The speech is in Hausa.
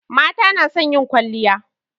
Mata na son yin kwalliya